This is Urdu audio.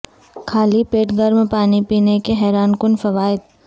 خالی پیٹ گرم پانی پینے کے حیران کن فوائد